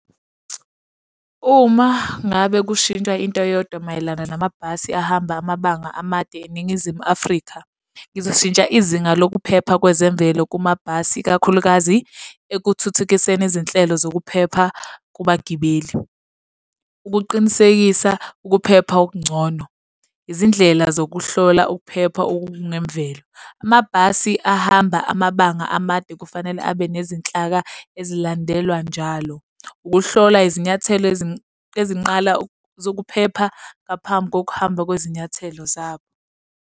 Uma ngabe kushintshwa into eyodwa mayelana namabhasi ahamba amabanga amade eNingizimu Afrika, ngizoshintsha izinga lokuphepha kwezemvelo kumabhasi, ikakhulukazi ekuthuthukiseni izinhlelo zokuphepha kubagibeli. Ukuqinisekisa ukuphepha okungcono. Izindlela zokuhlola ukuphepha okungemvelo. Amabhasi ahamba amabanga amade kufanele abe nezinhlaka ezilandelwa njalo. Ukuhlola izinyathelo ezinqala zokuphepha ngaphambi kokuhamba kwezinyathelo zabo.